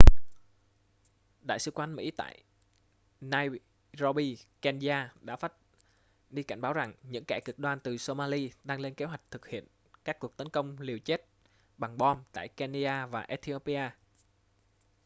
đại sứ quán mỹ tại nairobi kenya đã phát đi cảnh báo rằng những kẻ cực đoan từ somali đang lên kế hoạch thực hiện các cuộc tấn công liều chết bằng bom tại kenya và ethiopia